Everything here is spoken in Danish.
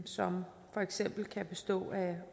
som for eksempel kan bestå af